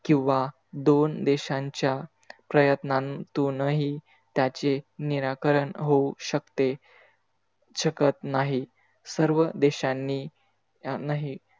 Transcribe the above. किवा दोन देशांच्या प्रयत्नातूनही त्याचे निराकण होऊ शकते. शकत नाही सर्व देशांनी यांनाही,